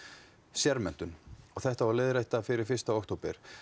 sérmenntun og þetta á að leiðrétta fyrir fyrsta október